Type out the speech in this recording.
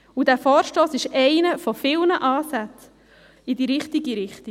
Dieser Vorstoss ist einer von vielen Ansätzen in die richtige Richtung.